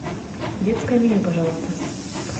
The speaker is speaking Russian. детское меню пожалуйста